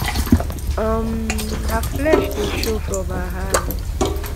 um her flesh dey show from her hand."